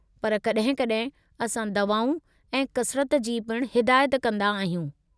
पर कॾहिं-कॾहिं असां दवाऊं ऐं कसरत जी पिणु हिदायत कंदा आहियूं।